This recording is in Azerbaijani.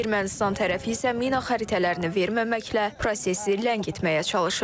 Ermənistan tərəfi isə mina xəritələrini verməməklə prosesi ləngitməyə çalışır.